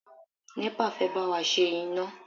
NEPA fẹ́ bá wa ṣe iná.